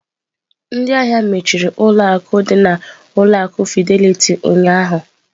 Ndị ahịa mechiri ụlọ akụ dị na ụlọ akụ Fidelity ụnyahụ.